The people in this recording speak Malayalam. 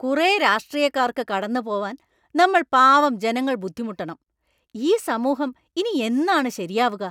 കുറേ രാഷ്ട്രീയക്കാർക്ക് കടന്നുപോവാൻ നമ്മൾ പാവം ജനങ്ങൾ ബുദ്ധിമുട്ടണം; ഈ സമൂഹം ഇനി എന്നാണ് ശരിയാവുക?